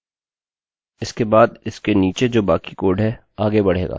इसके बाद इसके नीचे जो बाकी कोडcode है आगे बढ़ेगा